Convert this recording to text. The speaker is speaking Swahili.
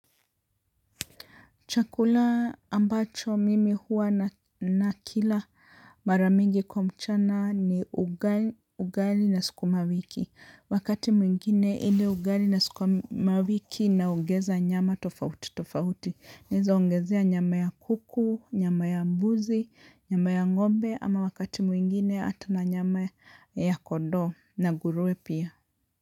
Chakula ambacho mimi huwa nakila mara mingi kwa mchana ni ugali na sikumawiki. Wakati mwingine ile ugali na sukumawiki naongeza nyama tofauti tofauti. Naweza ongezea nyama ya kuku, nyama ya mbuzi, nyama ya ngombe ama wakati mwingine hata na nyama ya kondoo na nguruwe pia.